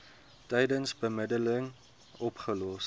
tydens bemiddeling opgelos